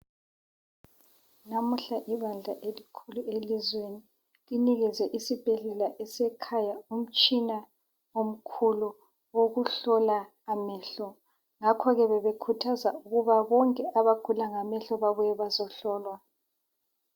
Namuhla ibandla elikhulu elizweni linikezwe isibhedlela esekhanya umtshina omkhulu owokuhlola amehlo ngakho ke bebekhuthaza ukuba bonke abagula ngamehlo babuye bazohlolwa.